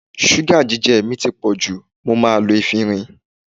Ṣúgà jíjẹ mi ti pọ̀ jù, mo máa lo efinrin.